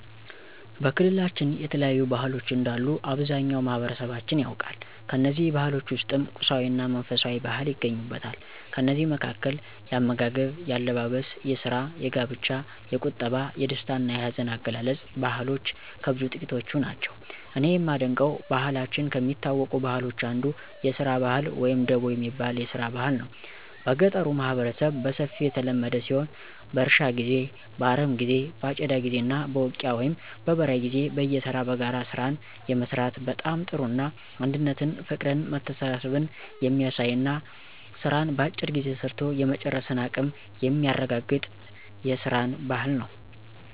በክልላችን የተለያዩ ባህሎች እንዳሉ አብዛኛው ማህበረሠባችን ያውቃል። ከእነዚህ ባህሎች ውስጥም ቁሳዊ እና መንፈሳዊ ባህል ይገኙበታል። ከእነዚህ መካከል፦ የአመጋገብ፣ የአለባበስ፣ የስራ፣ የጋብቻ፣ የቁጠባ፣ የደስታ እና የሀዘን አገላለፅ ባህልሎች ከብዙ ጥቂቶቹ ናቸው። እኔ የማደንቀው በክልላችን ከሚታወቁ ባህሎች አንዱ የስራ ባህል ወይም ደቦ የሚባል የስራ ባህል ነው። በገጠሩ ማህበረሠብ በሰፊው የተለመደ ሲሆን በእርሻ ጊዜ፣ በአረሞ ጊዜ በአጨዳ ጊዜ እና በውቂያ ወይም በበራይ ጊዜ በየተራ በጋራ ስራን የመስራት በጣም ጥሩ እና አንድነትን ፍቅርን መተሳሠብን የሚያሳይ እና ስራን በአጭር ጊዜ ሰርቶ የመጨረስን አቀም የሚያረጋገጥ የስራን ባህል ነው።